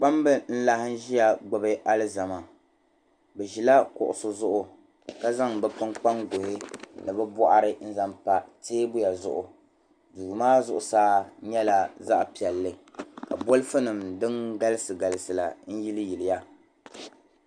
Kpamb' n-laɣim ʒia gbubi alizama bɛ ʒila kuɣusi zuɣu ka zaŋ bɛ kpunkpanguhi ni bɛ bɔɣiri n-zaŋ pa teebuya zuɣu duu maa zuɣusaa nyɛla zaɣ'piɛlli ka bɔlifunima din galisi galisi la n-yili yiliya